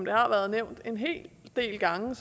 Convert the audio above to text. har været nævnt en hel del gange